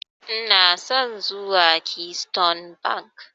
Ina son zuwa Keystone Bank.